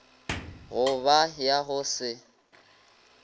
go ba ya go se